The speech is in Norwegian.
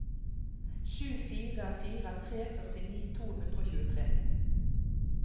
sju fire fire tre førtini to hundre og tjuetre